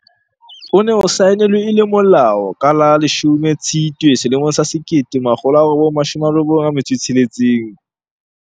O ne o saenelwe e le molao ka la 10 Tshitwe 1996.